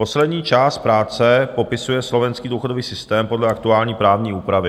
Poslední část práce popisuje slovenský důchodový systém podle aktuální právní úpravy.